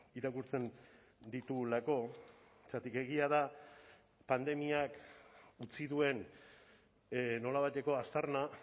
irakurtzen ditugulako zergatik egia da pandemiak utzi duen nolabaiteko aztarna